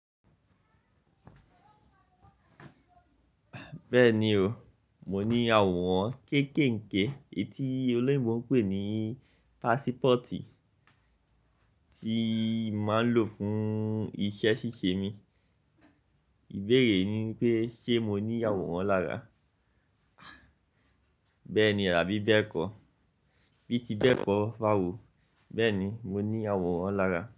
Bẹ́ẹ̀ni oo, mo ní àwòrán kéèkèènké etí olóyinbo pè ní pásípọ̀tì tíi máa ń lò fún iṣẹ́ ṣíṣee mi. Ìbéèrè ni wipé ṣe mo ní àwòrán lára? Bẹ́ẹ̀ni àbí bẹ́ẹ̀kọ́? Bií ti bẹ́ẹ̀kọ́ báwo. Bẹ́ẹ̀ni mo ní àwòrán lára.